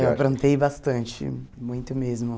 Eu aprontei bastante, muito mesmo.